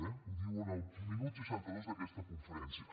eh ho diu en el minut seixanta dos d’aquesta conferència